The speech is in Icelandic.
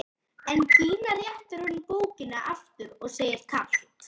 En Gína réttir honum bókina aftur og segir kalt